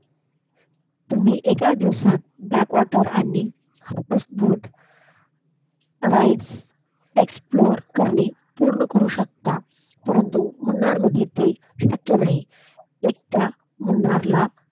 तुम्ही एका दिवसात Backwater आणि House boat . rides explore पूर्ण पाने करू शकता परंतु मुन्नार मध्ये ते शक्य नाही एकदा मुन्नार ला,